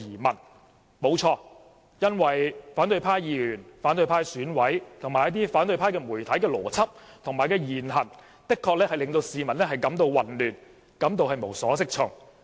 沒錯，因為反對派的議員、選委及一些媒體的邏輯和言行，的確令市民感到混亂及無所適從。